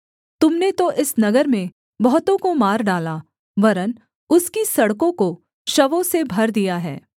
तुम ने तो इस नगर में बहुतों को मार डाला वरन् उसकी सड़कों को शवों से भर दिया है